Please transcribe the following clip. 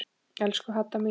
Elsku Hadda mín.